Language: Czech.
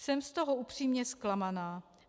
Jsem z toho upřímně zklamaná.